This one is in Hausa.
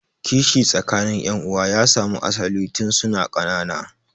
Kishi tsakanin yan'uwan ya samu asalin tun suna ƙanana.